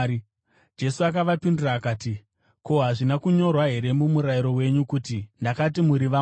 Jesu akavapindura akati, “Ko, hazvina kunyorwa here muMurayiro wenyu, kuti ‘Ndakati muri vamwari’?